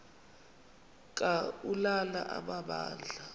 ka ulana amabandla